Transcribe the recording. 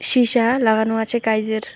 Shisha লাগানো আছে কাঁইজের ।